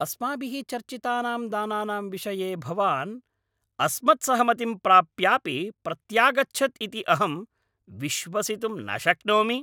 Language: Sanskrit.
अस्माभिः चर्चितानां दानानां विषये भवान् अस्मत्सहमतिं प्राप्यापि प्रत्यागच्छत् इति अहं विश्वसितुं न शक्नोमि।